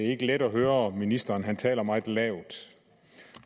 ikke let at høre ministeren for han taler meget lavt